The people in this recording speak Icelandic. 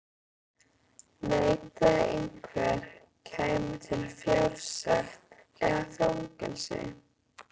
Neitaði einhver, kæmi til fjársekt eða fangelsi.